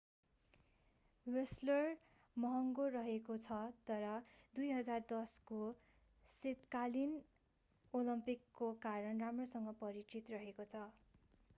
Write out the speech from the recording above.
Whistler भ्यानकुवरबाट 1.5 घण्टाको drive महँगो रहेको छ तर 2010को शीतकालीन ओलम्पिकको कारण राम्रोसँग परिचित रहेको छ।